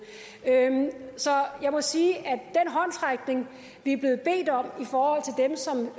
så jeg må sige at den håndsrækning vi er blevet bedt om